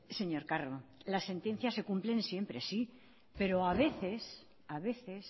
señor carro las sentencias se cumplen siempre sí pero a veces a veces